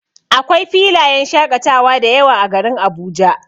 Akwai filayen shaƙatawa dayawa a garin Abuja.